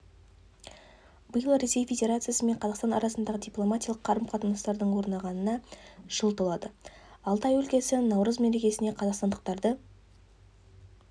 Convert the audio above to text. биыл ресей федерациясы мен қазақстан арасындағы дипломатиялық қарым-қатынастардың орнағанына жыл толады алтай өлкесі наурыз мерекесіне қазақстандықтарды